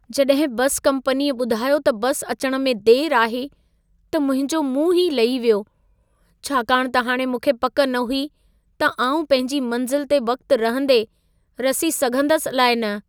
जॾहिं बसि कंपनीअ ॿुधायो त बस अचण में देरि आहे, त मुंहिंजो मुंहुं ई लही वियो। छाकाणि त हाणि मूंखे पक न हुई त आउं पंहिंजी मंज़िल ते वक़्त रहंदे रसी सघंदसि अलाइ न।